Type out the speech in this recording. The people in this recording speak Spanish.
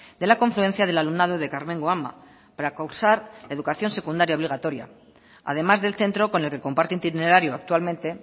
de la confluencia del alumnado de karmengo ama para cursar la educación secundaria obligatoria además del centro con el que comparte itinerario actualmente